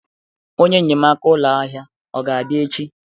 Onye enyemaka ụlọ ahịa ọ ga-abịa echi?